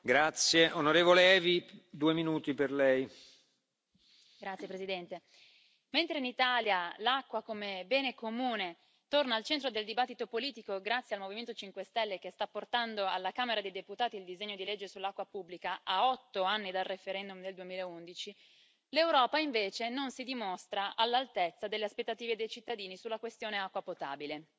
Signor Presidente, onorevoli colleghi, mentre in Italia l'acqua come bene comune torna al centro del dibattito politico grazie al Movimento 5 Stelle, che sta portando alla Camera dei Deputati il disegno di legge sull'acqua pubblica a otto anni dal referendum nel 2011, l'Europa non si dimostra all'altezza delle aspettative dei cittadini sulla questione acqua potabile.